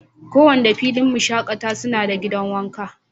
ko Wanda filin shakatawa suna da gidan wanka.